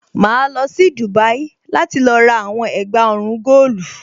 Màá lọ sí Dubai láti lọ rà àwọn ẹ̀gbà ọrùn góòlù.